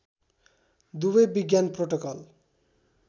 दुवै विज्ञान प्रोटोकल